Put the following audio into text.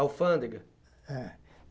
Alfândega. É